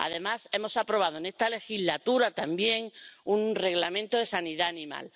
Además, hemos aprobado en esta legislatura también un Reglamento sobre sanidad animal.